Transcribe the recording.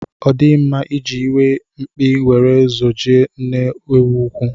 Ọ dịghị mma iji iwe mkpi were zojie nne ewu úkwú.